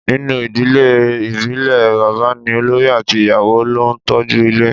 Ninu idile ibile baba ni olori ati iyawo lo n toju ile